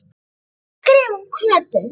Ég ætla að skrifa um Kötu